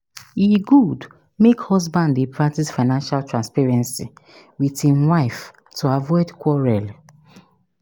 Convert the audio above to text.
E good make husband dey practice financial transparency with im wife to avoid quarrel.